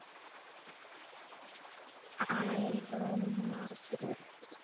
Einróma stutt.